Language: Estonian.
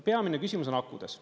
Peamine küsimus on akudes.